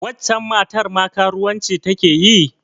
Waccen matar ma karuwanci ta ke yi?